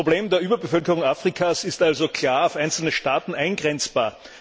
Das Problem der Überbevölkerung Afrikas ist also klar auf einzelne Staaten eingrenzbar.